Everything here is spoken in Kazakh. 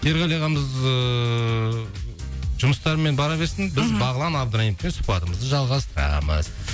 ерғали ағамыз ыыы жұмыстарымен бара берсін мхм біз бағлан абдраимовпен сұхбатымызды жалғастырамыз